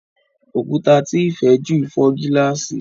Òkúta tí Ifè jù fò gilasi.